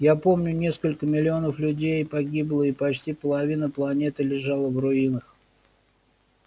я помню несколько миллионов людей погибло и почти половина планеты лежала в руинах